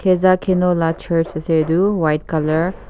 khezhakeno lah church ase etu white colour .